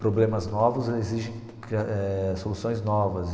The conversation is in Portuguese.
Problemas novos exigem eh soluções novas.